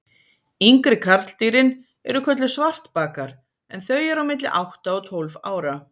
Yngri karldýrin eru kölluð svartbakar en þau eru á milli átta og tólf ára.